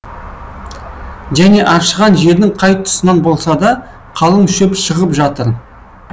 және аршыған жердің қай тұсынан болса да қалың шөп шығып жатыр